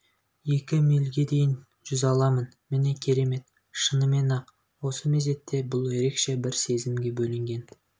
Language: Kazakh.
екі милге дейін жүз аламын міне керемет шынымен-ақ осы мезетте бұл ерекше бір сезімге бөленген